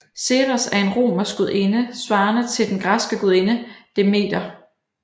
Ceres er en romersk gudinde svarende til den græske gudinde Demeter